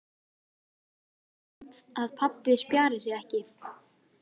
Amma talar stundum um að pabbi spjari sig ekki.